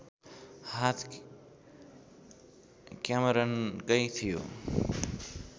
हात क्यामेरनकै थियो